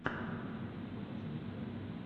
ютьюб покажи мне каналы